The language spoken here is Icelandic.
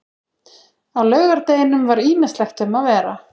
Á laugardeginum var ýmislegt um að vera.